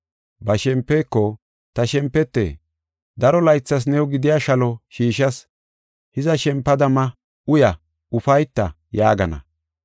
Ba shempeko, ‘Ta shempete, daro laythas new gidiya shalo shiishas. Hiza, shempada ma, uya, ufayta’ yaagana.